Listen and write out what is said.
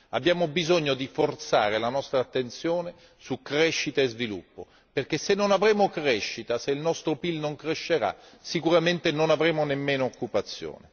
Abbiamo bisogno di forzare la nostra attenzione su crescita e sviluppo, perché se non avremo crescita, se il nostro PIL non crescerà, sicuramente non avremo nemmeno occupazione.